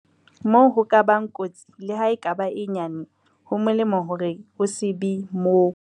Moo ho ka bang kotsi, leha e ka ba e nyane, ho molemo hore o se be moo.